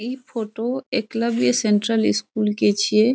इ photo Eklavya central school के छिये ।